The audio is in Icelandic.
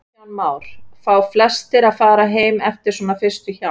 Kristján Már: Fá flestir að fara heim eftir svona fyrstu hjálp?